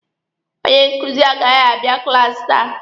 Onye nkuzi agaghị abịa klaasi taa.